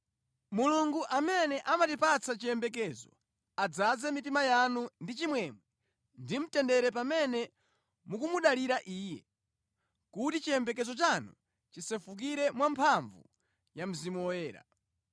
Mulungu amene amatipatsa chiyembekezo adzaze mitima yanu ndi chimwemwe ndi mtendere pamene mukumudalira Iye, kuti chiyembekezo chanu chisefukire mwamphamvu ya Mzimu Woyera.